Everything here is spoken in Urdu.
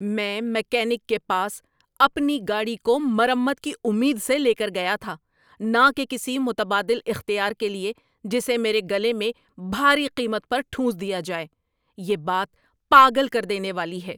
‏میں میکینک کے پاس اپنی گاڑی کو مرمت کی امید سے لے کر گیا تھا، نہ کہ کسی متبادل اختیار کے لیے، جسے میرے گلے میں بھاری قیمت پر ٹھونس دیا جائے۔ یہ بات پاگل کر دینے والی ہے۔